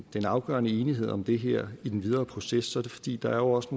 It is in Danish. den afgørende enighed om det her i den videre proces så er det fordi der jo også